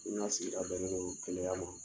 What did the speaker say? U na se a bɛ ŋgolo kɛnɛyaya ma